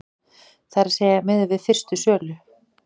Það er að segja miðað við fyrstu sölu,